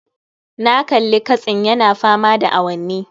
Na kalli katsin yana fama da awanni